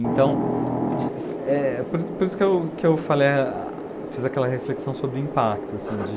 Então, de, eh, por isso por isso que eu que eu falei, fiz aquela reflexão sobre o impacto.